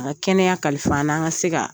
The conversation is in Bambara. A ka kɛnɛya kalifa an na, an ka se ka